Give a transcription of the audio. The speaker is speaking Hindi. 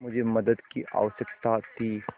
मुझे मदद की आवश्यकता थी